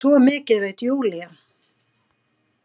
Svo mikið veit Júlía.